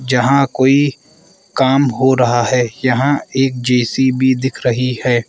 जहां कोई काम हो रहा है यहां एक जे_सी_बी दिख रही है।